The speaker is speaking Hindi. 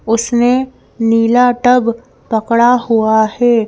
उसने नीला टब पकड़ा हुआ है।